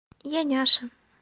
я няша